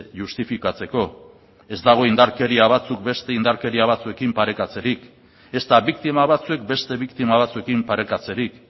justifikatzeko ez dago indarkeria batzuk beste indarkeria batzuekin parekatzerik ezta biktima batzuek beste biktima batzuekin parekatzerik